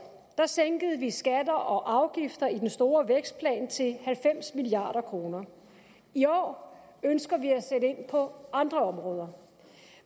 sænkede vi skatter og afgifter i den store vækstplan til halvfems milliard kroner i år ønsker vi at sætte ind på andre områder